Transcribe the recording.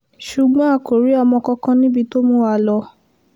ṣùgbọ́n a kò rí ọmọ kankan níbi tó mú wa lọ